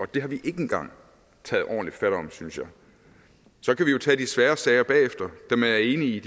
det har vi ikke engang taget ordentligt fat om synes jeg så kan vi jo tage de svære sager bagefter og jeg er enig i